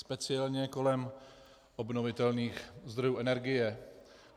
Speciálně kolem obnovitelných zdrojů energie.